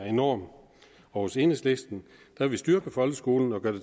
enorm og hos enhedslisten vil vi styrke folkeskolen og gøre